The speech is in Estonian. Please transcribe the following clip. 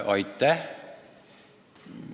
Aitäh!